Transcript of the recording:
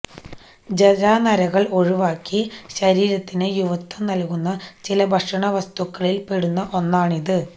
ജരാനരകള് ഒഴിവാക്കി ശരീരത്തിന് യുവത്വം നല്കുന്ന ചില ഭക്ഷണ വസ്തുക്കളില് പെടുന്ന ഒന്നാണിത്